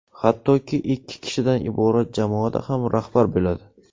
Hattoki, ikki kishidan iborat jamoada ham rahbar bo‘ladi.